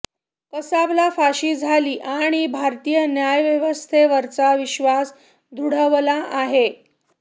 कसाबला फाशी झाली आणि भारतीय न्यायव्यवस्थेवरचा विश्वास दृढावला आहे